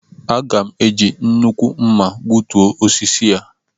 Aga m eji nnukwu mma gbutuo osisi a